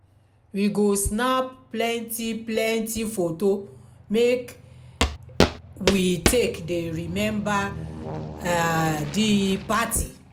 we go snap plenty plenty foto make we take dey remember um di party.